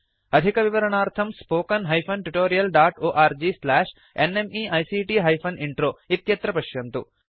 अधिकविवरणार्थं spoken hyphen tutorial dot org slash nmeict hyphen intro इत्यत्र पश्यन्तु